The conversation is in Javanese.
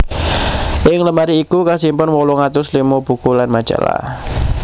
Ing lemari iku kasimpen wolung atus limo buku lan majalah